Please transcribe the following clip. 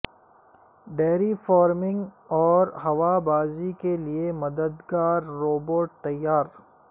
dairy farming اور ہوابازی کے لیے مددگار روبوٹ تیار